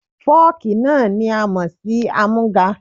Fọ́ọ̀kì náà ni a mọ̀ sí àmúga.